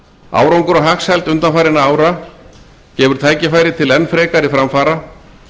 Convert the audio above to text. árangur og hagsæld undanfarinna ára gefur tækifæri til enn frekari framfara